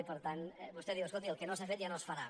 i per tant vostè diu escolti el que no s’ha fet ja no es farà